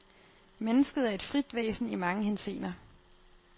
Mennesket er et frit væsen i mange henseender.